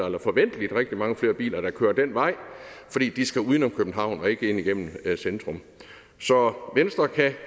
eller forventeligt rigtig mange flere biler der kører den vej fordi de skal uden om københavn og ikke ind igennem centrum så venstre kan